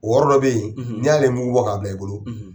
wɔɔrɔ dɔ bɛ yen n'i y'ale mugu bɔ k'abila i bolo